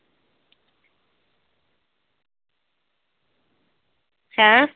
ਹੈਂ?